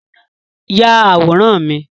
Yà àwòrán mi!